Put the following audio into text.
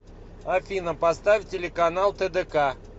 афина поставь телеканал тдк